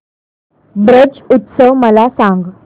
ब्रज उत्सव मला सांग